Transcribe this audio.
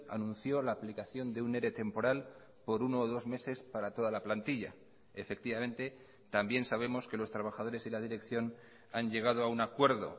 anunció la aplicación de un ere temporal por uno o dos meses para toda la plantilla efectivamente también sabemos que los trabajadores y la dirección han llegado a un acuerdo